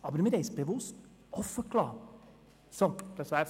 Wir haben es bewusst offengelassen.